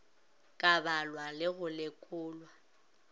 ka balwa le go lekolwa